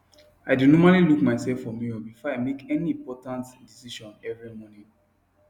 i dae normally look myself for mirror before i make any important decision every morning